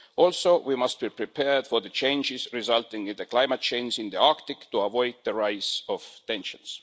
Also, we must be prepared for the changes resulting in the climate change in the Arctic to avoid the rise of tensions.